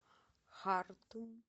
хартум